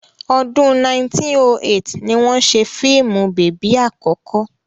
Ọdún 1908 ni wọ́n ṣe fíìmù bèbí àkọ́kọ́.